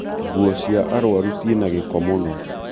nguo cia arwaru cina gĩko mũno